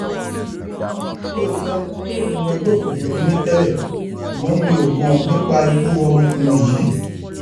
lóòótọ ọmọ ẹgbẹ òkùnkùn ni mí tẹlẹ ṣùgbọn mi ò mọ nípa ikú ọmọkùnrin yìí